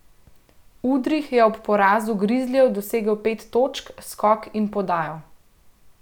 Udrih je ob porazu Grizlijev dosegel pet točk, skok in podajo.